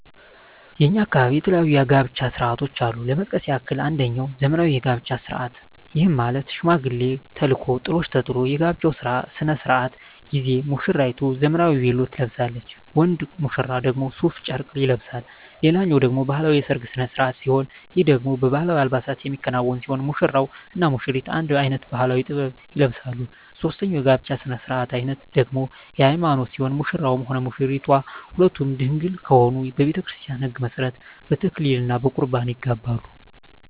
በእኛ አካባቢ የተለያዩ የጋብቻ ስነ ስርዓቶች አሉ ለመጥቀስ ያክል አንጀኛው ዘመናዊ የጋብቻ ስነ ስርዓት ይህም ማለት ሽማግሌ ተልኮ ጥሎሽ ተጥሎ የጋብቻው ስነ ስርዓት ጊዜ ሙስራይቱ ዘመናዊ ቬሎ ትለብሳለች ወንድ ሙሽራው ደግሞ ሡፍ ጨርቅ ይለብሳል ሌላኛው ደግሞ ባህላዊ የሰርግ ስነ ስርዓት ሲሆን ይህ ደግሞ በባህላዊ አልባሳት የሚከናወን ሲሆን ሙሽራው እና ሙሽሪቷ አንድ አይነት ባህላዊ(ጥበብ) ይለብሳሉ ሶስተኛው የጋብቻ ስነ ስርዓት ደግሞ የሀይማኖት ሲሆን ሙሽራውም ሆነ ሙሽራይቷ ሁለቱም ድንግል ከሆኑ በቤተክርስቲያን ህግ መሠረት በተክሊል እና በቁርባን ይጋባሉ።